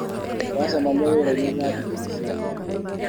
ũracemania wĩrainĩ thaa igĩrĩ cia kĩroko.